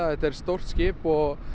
þetta er stórt skip og